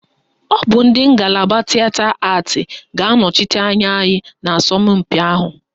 Ọ bụ ndị ngalaba Tịeta Atị ga-anọchite anya anyị n'asọmpị ahụ